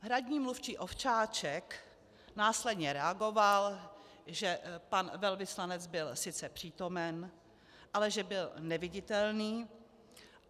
Hradní mluvčí Ovčáček následně reagoval, že pan velvyslanec byl sice přítomen, ale že byl neviditelný.